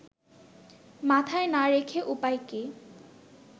মাথায় না রেখে উপায় কী